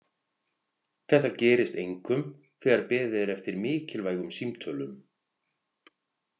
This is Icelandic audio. Þetta gerist einkum þegar beðið er eftir mikilvægum símtölum.